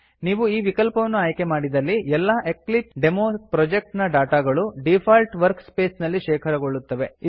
ನೀವು ಈ ವಿಕಲ್ಪವನ್ನು ಆಯ್ಕೆ ಮಾಡಿದಲ್ಲಿ ಎಲ್ಲಾ ಎಕ್ಲಿಪ್ಸೆಡೆಮೊ ಪ್ರೊಜೆಕ್ಟ್ ನ ಡಾಟಾ ಗಳು ಡೀಫಾಲ್ಟ್ ವರ್ಕ್ ಸ್ಪೇಸ್ ನಲ್ಲಿ ಶೇಖರಗೊಳ್ಳುತ್ತವೆ